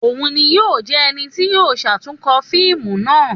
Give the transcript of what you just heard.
Òun ni yoo jẹ ẹni ti yíò ṣatunkọ fiimu naa